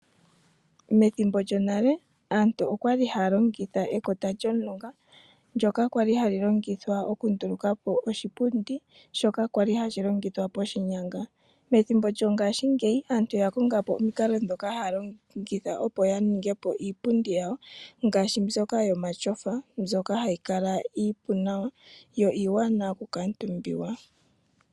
Methimbo lyonale aantu okwa li haya longitha ekota lyOmulunga, ndoka hali longithwa oku nduluka po oshipundi shoka kwali hashi longithwa poshinyanga. Methimbo lyongashi ngeyi aantu oya konga po omikalo ndhoka haya longitha opo yalonge iipundi yawo, ngaashi mbyoka yomatyofa hayi kala iiwanawa niipu oku kaantumbiwa.